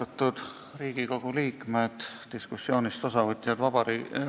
Austatud Riigikogu liikmed, diskussioonist osavõtjad!